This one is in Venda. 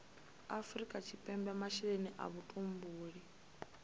afrika tshipembe masheleni a vhutumbuli